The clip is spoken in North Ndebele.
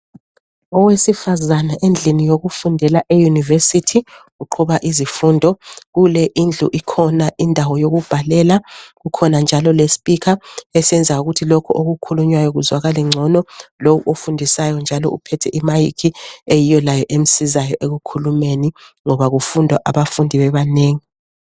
Owesifazana endlini yokufundela eyunivesithi uqhuba izifundo. Kule indlu ikhona indawo yokubhalela, kukhona njalo lespikha esenza ukuthi lokhu okukhulunywayo kuzwakale ngcono. Lowo ofundisayo njalo uphethe imayikhi eyiyo layo emsizayo ekukhulumeni ngoba kufunda abafundi bebanengi.